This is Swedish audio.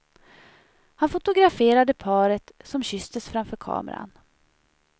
Han fotograferade paret, som kysstes framför kameran.